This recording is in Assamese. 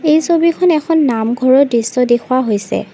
এই ছবিখন এখন নামঘৰৰ দৃশ্য দেখুওৱা হৈছে।